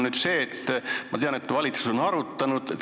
Ma tean, et valitsus on seda arutanud.